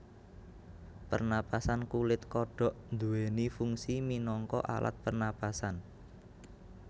Pernapasan kulit kodhok nduwèni fungsi minangka alat pernapasanh